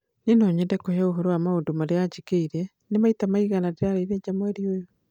Nĩ no nyende kũheo ũhoro wa maũndũ marĩa anjĩkĩire, ta maita maigana marĩa ndĩraarĩire nja mweri ũyũ